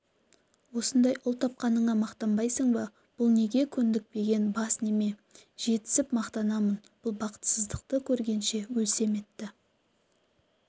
осындай ұл тапқаныңа мақтанбайсың ба бұл неге көндікпеген бас неме жетсіп мақтанамын бұл бақытсыздықты көргенше өлсем-етті